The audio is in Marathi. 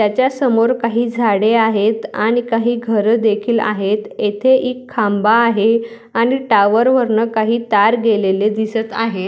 त्यासमोर काही झाडे आहेत आणि काही घर देखील आहेत येथे एक खांबा आहे आणि टॉवर वरन काही तार गेलेले दिसत आहे.